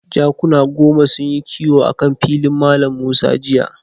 Jakuna goma sunyi kiwo akan filin Mallam Musa jiya.